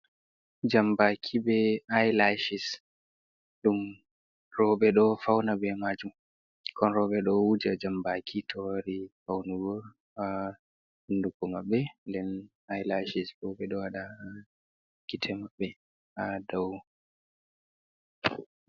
Jambaki be ilaishes ɗum roɓɓe ɗo fauna be majum ɓukkon roɓɓe ɗo wuja jambaki tori faunago ha hunduko maɓbe den ilaishes bo ɓeɗo waɗa ha gitte maɓɓe ha dou.